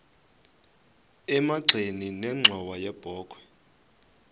emagxeni nenxhowa yebokhwe